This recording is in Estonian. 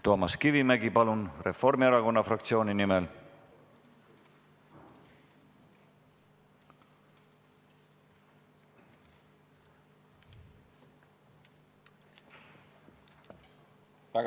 Toomas Kivimägi, palun, Reformierakonna fraktsiooni nimel!